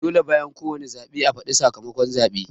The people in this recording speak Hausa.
Dole bayan ko wane zaɓe a fadi sakamakon zaɓen